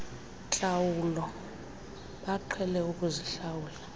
ntlawulo baqhele ukuzihlawula